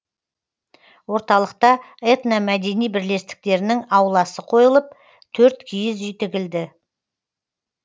орталықта этномәдени бірлестіктерінің ауласы қойылып төрт киіз үй тігілді